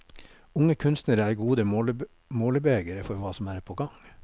Unge kunstnere er gode målebegere for hva som er på gang.